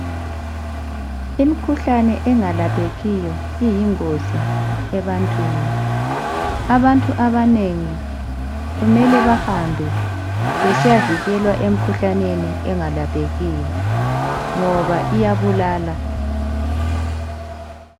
imikhuhlane enalaphekiyo iyingizi ebantwini abantu abanengi kumele bahambe besiyavikelwa emikhuhlaneni engalaphekiyo ngoba iyabulala